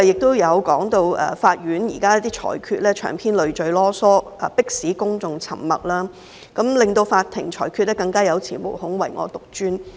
他也說到，法院現時的一些裁決長篇累贅，迫使公眾沉默，令法庭裁決更有恃無恐，唯我獨尊。